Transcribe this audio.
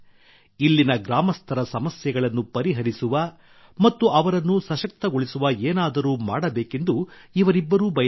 ಇಲ್ಲಿನ ಗ್ರಾಮಸ್ಥರ ಸಮಸ್ಯೆಗಳನ್ನು ಪರಿಹರಿಸುವ ಮತ್ತು ಅವರನ್ನು ಸಶಕ್ತಗೊಳಿಸುವ ಏನಾದರೂ ಮಾಡಬೇಕೆಂದು ಇವರಿಬ್ಬರೂ ಬಯಸಿದರು